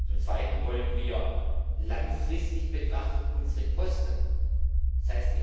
Zum zweiten wollen wir langfristig betrachtet unsere Kosten, d.